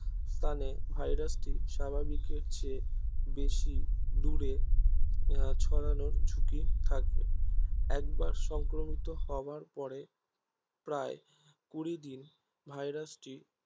স্থানে ভাইরাসটি স্বাভাবিকের চেয়ে বেশি দূরে ছড়ান ঝুকি থাকবে একবার সংক্রমিত হবার পরে প্রায় কুড়ি দিন ভাইরাসটি